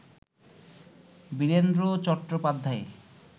Virender Chattopadhyay